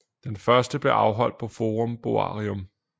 Den første blev afholdt på Forum Boarium